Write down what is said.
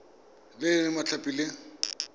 le e e mabapi le